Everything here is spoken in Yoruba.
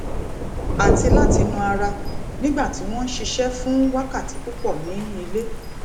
àti láti na ara nígbà tí wọn n ṣiṣẹ fún wákàtí púpọ ní ilé